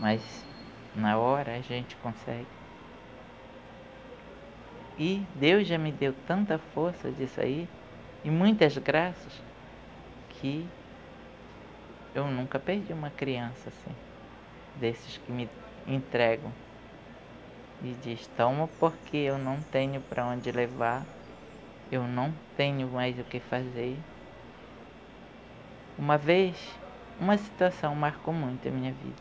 mas na hora a gente consegue e Deus já me deu tanta força disso aí e muitas graças que eu nunca perdi uma criança assim desses que me entregam e diz, toma porque eu não tenho para onde levar eu não tenho mais o que fazer uma vez uma situação marcou muito a minha vida